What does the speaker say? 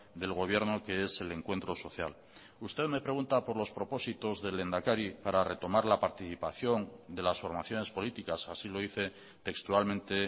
del gobierno que es el encuentro social usted me pregunta por los propósitos del lehendakari para retomar la participación de las formaciones políticas así lo dice textualmente